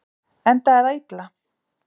Endaði það illa?